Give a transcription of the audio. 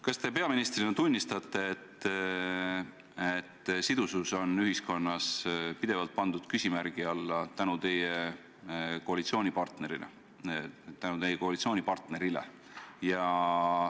Kas te peaministrina tunnistate, et sidusus on teie koalitsioonipartneri tõttu pandud ühiskonnas pidevalt küsimärgi alla?